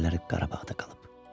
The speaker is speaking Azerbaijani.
Onun əlləri Qarabağda qalıb.